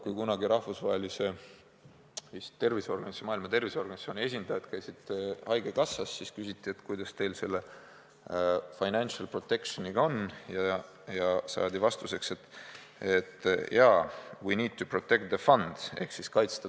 Kunagi, kui rahvusvahelise organisatsiooni, vist Maailma Terviseorganisatsiooni esindajad käisid haigekassas, siis küsiti, et kuidas teil selle financial protection'iga on, ja saadi vastuseks, et jaa, we need to protect the fund.